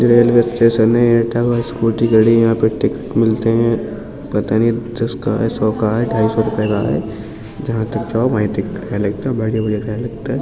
Railway station ऐं एटा का । Scooty खड़ी ऐं यहाँ पर टिकट मिलते हैं । पता नहीं दस का है सोै का है ढाई सौ रुपए का है । जहाँ तक जाओ वहीँ तक का किराया लगता है बाकी किराया लगता है।